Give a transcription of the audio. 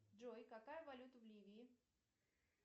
джой какая валюта в ливии